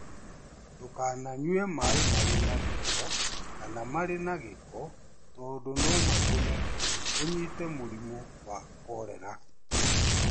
Ndũkananyue maĩ marĩ na gĩko kana marĩ na gĩko tondũ no matũme ũnyite mũrimũ wa korera.